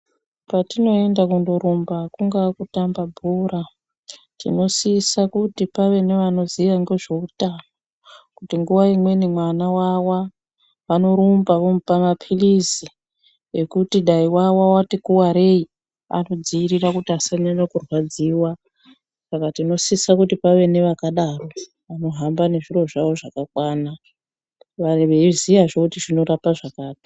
Patinoenda kundorumba kungaa kutamba bhora, tinosisa kuti pave nevanoziva ngezveutano, Kuti nguva imweni mwana wawa, vanorumba vomupa maphilizi ekuti dai wawa wati kuvarei, anodzivirira kuti asanyanya kurwadziwa. Saka tinosisa kuti pave nevakadaro vanohamba nezviro zvavo zvakakwana, veiziyazve kuti zvinorapa zvakati.